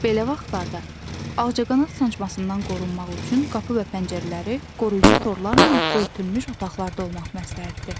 Belə vaxtlarda ağcaqanad sancmasından qorunmaq üçün qapı və pəncərələri qoruyucu torlarla örtülmüş otaqlarda olmaq məsləhətdir.